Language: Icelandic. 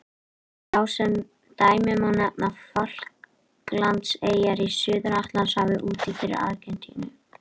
Sem dæmi má nefna Falklandseyjar í Suður-Atlantshafi úti fyrir Argentínu.